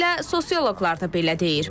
Elə sosial şəbəkələr də belə deyir.